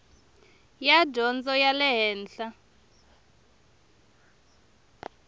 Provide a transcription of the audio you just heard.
ya dyondzo ya le henhla